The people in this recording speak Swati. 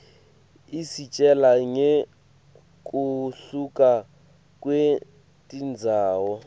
isitjela ngekuhluka kwetindzawo